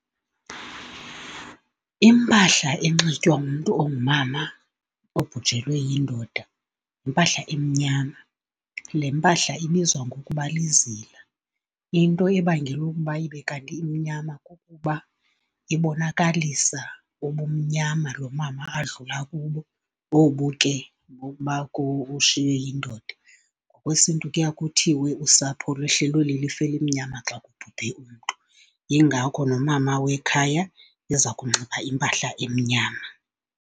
Impahla enxitywa ngumntu ongumama obhujelwe yindoda yimpahla emnyama, le mpahla ibizwa ngokuba lizila. Into ebangela ukuba ibe kanti imnyama kukuba ibonakalisa ubumnyama lo mama adlula kubo, obu ke bokuba ushiywe yindoda. NgokwesiNtu kuya kuthiwe usapho lwehlelwe lilifu elimnyama xa kubhubhe umntu, yingakho nomama wekhaya eza kunxiba impahla emnyama.